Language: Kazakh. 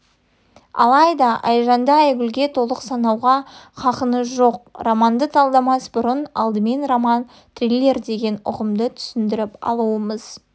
алайда айжанды айгүлге толық санауға хақыныз жоқ романды талдамас бұрын алдымен роман-триллер деген ұғымды түсіндіріп алуымыз